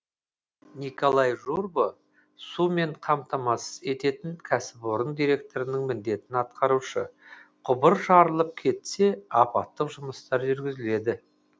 николай журба сумен қамтамасыз ететін кәсіпорын директорының міндетін атқарушы құбыр жарылып кетсе апаттық жұмыстар жүргізіледі